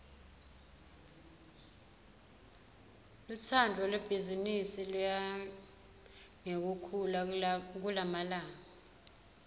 lutsandvo lwebhizimisi luya ngekukhula kulamalanga